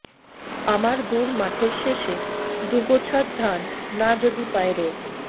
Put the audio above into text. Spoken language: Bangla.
আমার দূর মাঠের শেষে দুগোছা ধান না যদি পায় রোদ